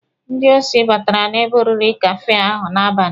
Ndị osi batara n'ebe oriri kafee ahụ n'abalị.